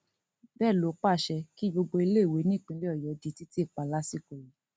bẹẹ ló pàṣẹ pé kí gbogbo iléèwé nípínlẹ ọyọ di títì pa lásìkò yìí